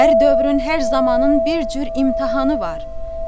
Hər dövrün hər zamanın bir cür imtahanı var.